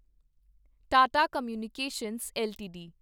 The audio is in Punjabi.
Tata communications LTD